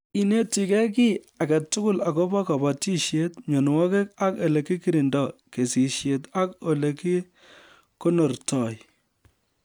Inetigei kiy age tugul akobo kobotishet ,mienwokik ak olekikirindoi ,kesishet ak olekikonortoi